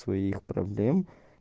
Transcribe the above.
своих проблем